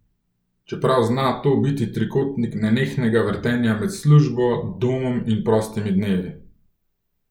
Čeprav zna to biti trikotnik nenehnega vrtenja med službo, domom in prostimi dnevi.